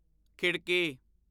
ਖਿੜਕੀ